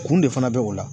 Kun de fana bɛ o la